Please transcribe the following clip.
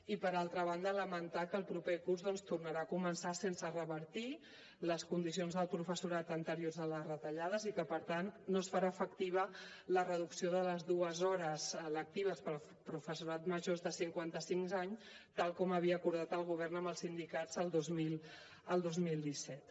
i per altra banda lamentar que el proper curs doncs tornarà a començar sense revertir les condicions del professorat anteriors a les retallades i que no es farà efectiva la reducció de les dues hores lectives per al professorat major de cinquanta cinc anys tal com havia acordat el govern amb els sindicats el dos mil disset